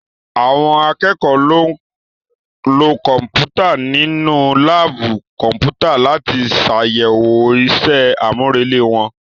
Àwọn akẹ́kọ̀ọ́ lo Kọ̀m̀pútà nínú láàbù Kọ̀m̀pútà láti ṣàyẹ̀wò ìṣe àmúrelé wọn